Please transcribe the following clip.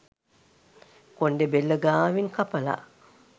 කොණ්ඩෙ බෙල්ල ගාවින් කපලා.